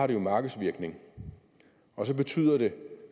det jo markedsvirkning og så betyder det